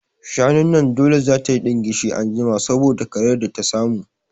Shanun nan dole za tayi ɗingishi anjima saboda karayar da ta samu